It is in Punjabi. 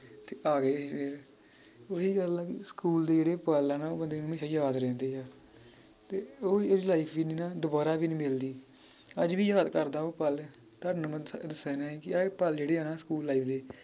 ਤੇ ਆਗਏ ਫੇਰ ਓਹੀ ਗੱਲ ਆ ਕਿ ਸਕੂਲ ਦੇ ਜਿਹੜੇ ਪੱਲ ਆ ਨਾ ਉਹ ਬੰਦੇ ਨੂੰ ਹਮੇਸ਼ਾ ਯਾਦ ਰਹਿੰਦੇ ਆ ਤੇ ਉਹ ਜਿਹੜੀ life ਸੀ ਨਾ ਦੋਬਾਰਾ ਵੀ ਨੀ ਮਿਲਦੀ ਅੱਜ ਵੀ ਯਾਦ ਕਰਦਾਂ ਉਹ ਪੱਲ ਕਿ ਇਹ ਪੱਲ ਜਿਹੜੇ ਆ ਨਾ ਸਕੂਲ life ਦੇ